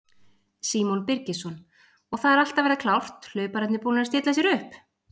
Símon Birgisson: Og það er allt að verða klárt, hlaupararnir búnir að stilla sér upp?